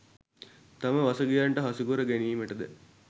තම වසඟයට හසුකර ගැනීමට ද